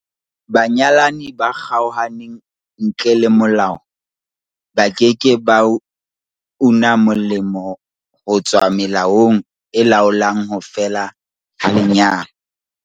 Banyalani ba kgaohaneng ntle le molao ba ke ke ba una molemo ho tswa melaong e laolang ho fela ha lenyalo.